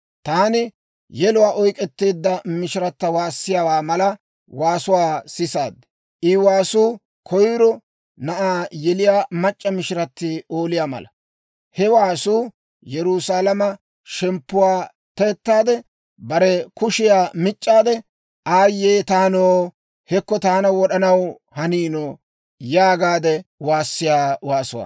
Taani yeluwaa oyk'k'eteedda mishirata waassiyaawaa mala waasuwaa sisaad. I waasuu koyiro na'aa yeliyaa mac'c'a mishirati ooliyaa mala. He waasuu, Yerusaalama shemppuwaa te"ettaade, bare kushiyaa mic'aade, «Aayye taanoo! Hekko taana wod'anaw haniino!» yaagaade waassiyaa waasuwaa.